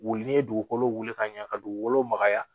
Wuli ni ye dugukolo wuli ka ɲɛ ka dugukolo magaya